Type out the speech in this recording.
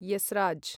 esraj